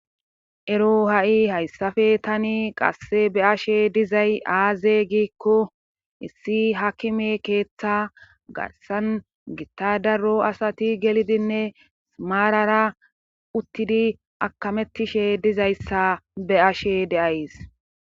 ero ha7i hayssafe tani qasse be'ashe dizay aaze giikko issi hakime keeththa garsan gittadaro asati gelidinne simaarara uttidi akamettishe dizayssa be'ashe de'ays